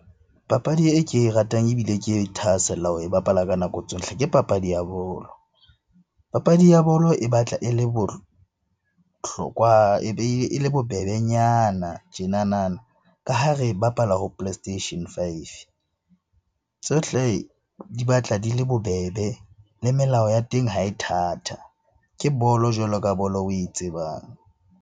Papadi e ke e ratang ebile ke thahasella ho e bapala ka nako tsohle ke papadi ya bolo. Papadi ya bolo e batla e le bohlokwa, e be e le bobebenyana tjenanana ka ha re bapala ho play station five. Tsohle di batla di le bobebe, le melao ya teng ha e thatha. Ke bolo jwalo ka bolo oe tsebang.